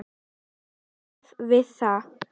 Hann hafði farið víða.